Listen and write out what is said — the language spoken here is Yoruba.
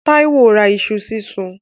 Táíwó ra iṣu sísun.